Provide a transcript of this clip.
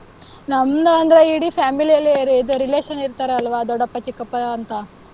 ನಮ್ದು ಅಂದ್ರೆ ಇಡೀ family ಯಲ್ಲೇ ಇದು relation ಇರ್ತಾರಲ್ವಾ ದೊಡ್ಡಪ್ಪ, ಚಿಕ್ಕಪ್ಪ, ಅಂತ,